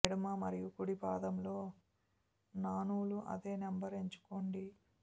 ఎడమ మరియు కుడి పాదంలో న నూలు అదే నెంబర్ ఎంచుకోండి